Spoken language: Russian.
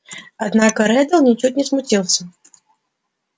однако реддл ничуть не смутился